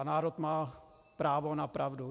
A národ má právo na pravdu.